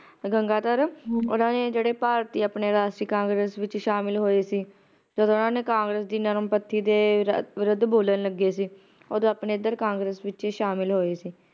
ਗੰਗਾਧਰ ਹਮ ਓਹਨਾ ਨੇ ਜਿਹੜੇ ਭਾਰਤੀ ਆਪਣੇ ਰਾਸ਼ਟਰੀ congress ਵਿਚ ਸ਼ਾਮਲ ਹੋਏ ਸੀ ਜਦ ਓਹਨਾ ਨੇ congress ਦੀ ਨਰਮਪੰਥੀ ਦੇ ਵਿਰੁੱਧ ਬੋਲਣ ਲੱਗ ਗਏ ਸੀ ਓਦੋ ਆਪਣੇ ਏਧਰ congress ਵਿਚ ਹੀ ਸ਼ਾਮਿਲ ਹੋਏ ਸੀ